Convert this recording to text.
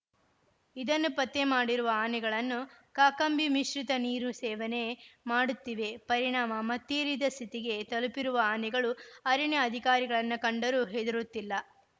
ಇದನ್ನು ಪತ್ತೆ ಮಾಡಿರುವ ಆನೆಗಳನ್ನು ಕಾಕಂಬಿ ಮಿಶ್ರಿತ ನೀರು ಸೇವನೆ ಮಾಡುತ್ತಿವೆ ಪರಿಣಾಮ ಮತ್ತೀರಿದ ಸ್ಥಿತಿಗೆ ತಲುಪಿರುವ ಆನೆಗಳು ಅರಣ್ಯ ಅಧಿಕಾರಿಗಳನ್ನ ಕಂಡರೂ ಹೆದುರುತ್ತಿಲ್ಲ